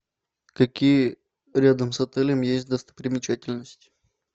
какие рядом с отелем есть достопримечательности